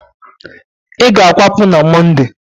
ị ga-akwapụ n' Mọnde!